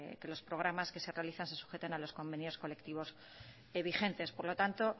que los programas que se realizan se sujeten a los convenios colectivos vigentes por lo tanto